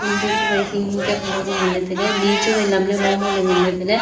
ngun bu chuwai hing hing kya colour bu nganle taile ni chuwai lamle mo mo le nganle taile.